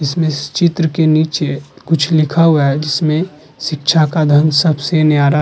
इसमें इस चित्र के नीचे है कुछ लिखा हुआ है जिसमें शिक्षा का धर्म सबसे न्यारा --